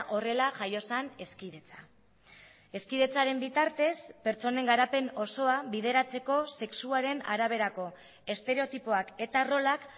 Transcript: horrela jaio zen hezkidetza hezkidetzaren bitartez pertsonen garapen osoa bideratzeko sexuaren araberako estereotipoak eta rolak